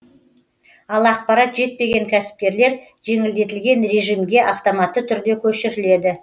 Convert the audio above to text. ал ақпарат жетпеген кәсіпкерлер жеңілдетілген режимге автоматты түрде көшіріледі